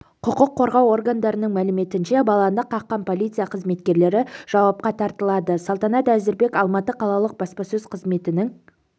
құқық қорғау органдарының мәліметінше баланы қаққан полиция қызметкерлері жауапқа тартылады салтанат әзірбек алматы қалалық баспасөз қызметінің